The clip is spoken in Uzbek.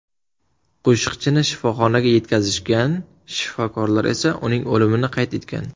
Qo‘shiqchini kasalxonaga yetkazishgan, shifokorlar esa uning o‘limini qayd etgan.